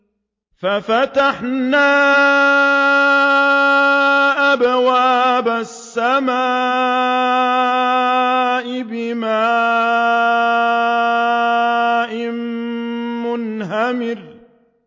فَفَتَحْنَا أَبْوَابَ السَّمَاءِ بِمَاءٍ مُّنْهَمِرٍ